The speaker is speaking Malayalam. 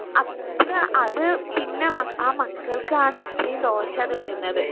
അത്ര അത് പിന്നെ മക്ക ആ മക്കൾക്കാണ് അത്രേം ദോഷാണ് അത് വരുന്നത്